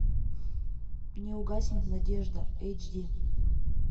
не угаснет надежда эйч ди